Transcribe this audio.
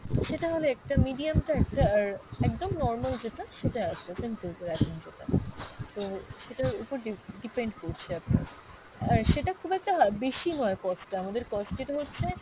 সেটা হলে একটা, medium টা একটা, আর একদম normal যেটা সেটা আছে simple করে একদম যেটা। তো সেটার ওপর ডি~ depend করছে আপনার। আর সেটা খুব একটা বেশি নয় cost টা, আমাদের cost rate হচ্ছে,